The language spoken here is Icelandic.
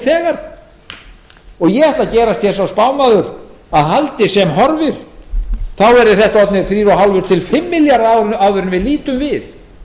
á fjárlögum ég ætla að gerast sá spámaður að haldi sem horfir verði það orðnir þrjú og hálft til fimm milljarðar áður en við lítum við